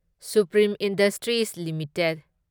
supreme Industries limited